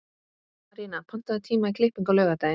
Arína, pantaðu tíma í klippingu á laugardaginn.